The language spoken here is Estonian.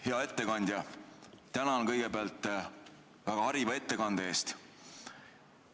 Hea ettekandja, tänan kõigepealt väga hariva ettekande eest.